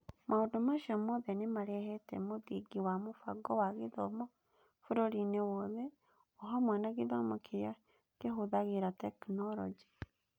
Maũndũ macio mothe nĩ marehete mũthingi wa mũbango wa gĩthomo bũrũriinĩ wothe, o hamwe na gĩthomo kĩrĩa kĩhũthagĩra tekinolonjĩ.